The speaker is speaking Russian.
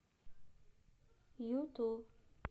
юту